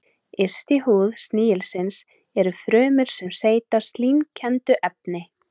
Yst í húð snigilsins eru frumur sem seyta slímkenndu efni.